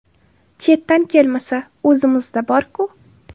Chetdan kelmasa, o‘zimizda bor-ku.